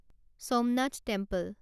Somnath temple